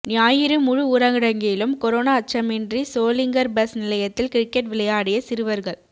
ஞாயிறு முழு ஊரடங்கிலும் கொரோனா அச்சமின்றி சோளிங்கர் பஸ் நிலையத்தில் கிரிக்கெட் விளையாடிய சிறுவர்கள்